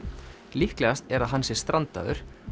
líklegast er að hann sé strandaður